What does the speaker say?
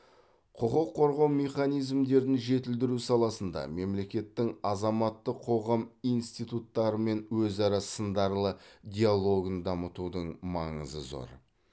құқық қорғау механизмдерін жетілдіру саласында мемлекеттің азаматтық қоғам институттарымен өзара сындарлы диалогын дамытудың маңызы зор